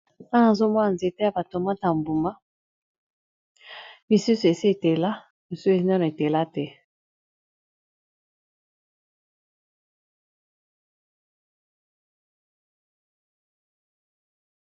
Awa nazomona nzete yaba tomate Ya mbuma misusu esi etela misusu esi etela te